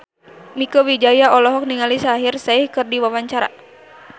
Mieke Wijaya olohok ningali Shaheer Sheikh keur diwawancara